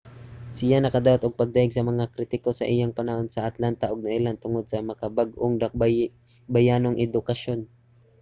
siya nakadawat og pagdayeg sa mga kritiko sa iyang panahon sa atlanta ug nailhan tungod sa makabag-ong dakbayanong edukasyon